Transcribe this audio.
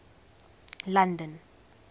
london